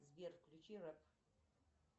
сбер включи рэп